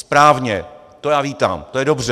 Správně, to já vítám, to je dobře.